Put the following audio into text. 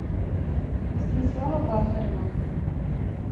станислава бахарева